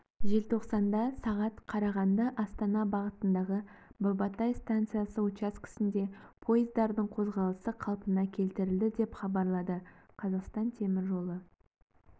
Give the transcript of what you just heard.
желтоқсанда сағат қарағанды-астана бағытындағы бабатай станциясы учаскесінде пойыздардың қозғалысы қалпына келтірілді деп хабарлады қазақстан темір жолы